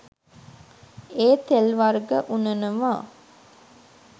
ඒ තෙල් වර්ග උනනවා.